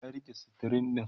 na rike stirin ɗin